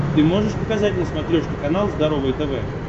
ты можешь показать на смотрешке канал здоровое тв